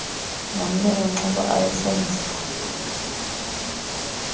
nomneno nciba ayesenziwa